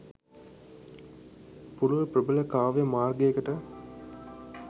පුළුල් ප්‍රබල කාව්‍ය මාර්ගයකට